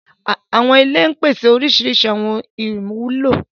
Àwọn ìlẹ̀ ń pèsè orísíríṣí àwọn ìwulo.